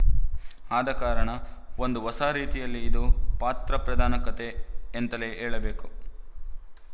ಆದಕಾರಣ ಒಂದು ಹೊಸ ರೀತಿಯಲ್ಲಿ ಇದು ಪಾತ್ರ ಪ್ರಧಾನ ಕಥೆ ಎಂತಲೇ ಹೇಳಬೇಕು